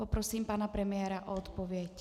Poprosím pana premiéra o odpověď.